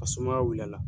A sumaya wulila